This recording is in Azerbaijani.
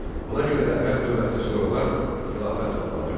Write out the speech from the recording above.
Ona görə də ərəb dövləti sonralar xilafət adlanırdı.